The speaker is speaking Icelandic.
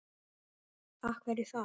Af hverju þar?